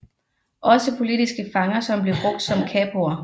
Også politiske fanger blev brugt som kapoer